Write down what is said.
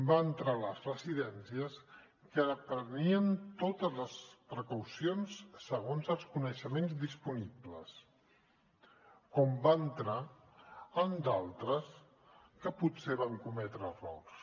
va entrar a les residències que prenien totes les precaucions segons els coneixements disponibles com va entrar en d’altres que potser van cometre errors